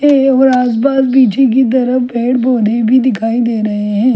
है ओर आसपास पीछे की तरफ पेड़ पौधे भी दिखाई डे रहे है।